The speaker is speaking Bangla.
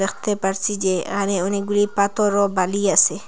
দেখতে পারছি যে এহানে অনেকগুলি পাথর ও বালি আসে।